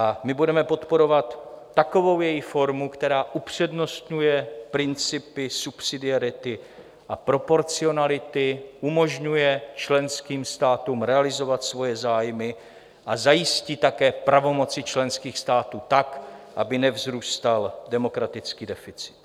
A my budeme podporovat takovou její formu, která upřednostňuje principy subsidiarity a proporcionality, umožňuje členským státům realizovat svoje zájmy a zajistí také pravomoci členských států tak, aby nevzrůstal demokratický deficit.